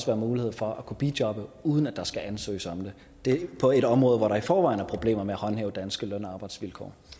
være mulighed for at kunne bijobbe uden at der skal ansøges om det på et område hvor der i forvejen er problemer med at håndhæve danske løn og arbejdsvilkår